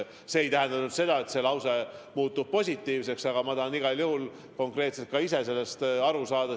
See ei tähenda nüüd seda, et otsus muutub positiivseks, aga ma tahan igal juhul ise ka konkreetselt sellest aru saada.